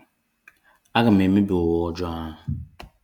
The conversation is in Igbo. A ga m emebi ụwa ojoo a.